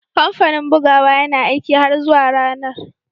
Kamfanin bugawa yana aiki har zuwa ranar